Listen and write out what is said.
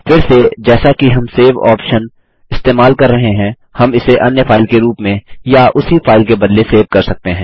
फिर से जैसा कि हम सेव ऑप्शन इस्तेमाल कर रहे हैं हम इसे अन्य फाइल के रूप में या उसी फाइल के बदले सेव कर सकते हैं